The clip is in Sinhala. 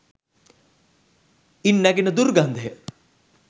ඉන් නැගෙන දුර්ගන්ධය